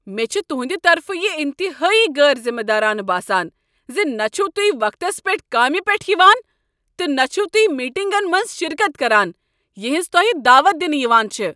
مےٚ چھ تُہندِ طرفہٕ یِہ انتہٲیی غٲر ذِمہ دارانہٕ باسان زِ نہ چِھو تُہۍ وقتس پٮ۪ٹھ کامہ پیٹھ یِوان تہٕ نہ چھو تہۍ میٹنگن منٛز شرکت کران یہنز تۄہہ دعوت دنہٕ یوان چھےٚ۔